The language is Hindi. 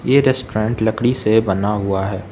ये रेस्टोरेंट लकड़ी से बना हुआ है।